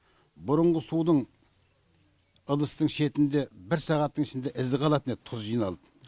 бұрынғы судың ыдыстың шетінде бір сағаттың ішінде ізі қалатын еді тұз жиналып